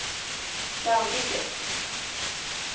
Dannike